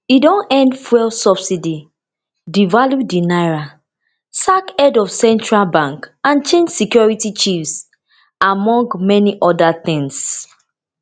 e don end fuel subsidy devalue di naira sack head of central bank and change security chiefs among many oda tins